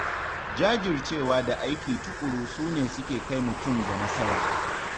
Jajircewa da aiki tuƙuru su ne suke kai mutum ga nasara.